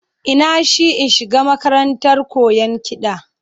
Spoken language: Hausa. Ina shi in shiga makarantar koyan kiɗa